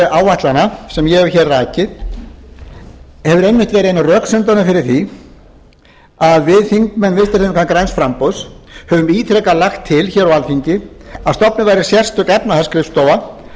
áætlana sem ég hef rakið hefur einmitt verið ein af röksemdunum fyrir því að við þingmenn vinstri hreyfingarinnar græns framboðs höfum ítrekað lagt til á alþingi að stofnuð verði sérstök efnahagsskrifstofa